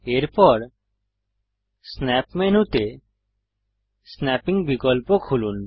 এরপর স্ন্যাপ মেনুতে স্নাপ্পিং বিকল্প খুলুন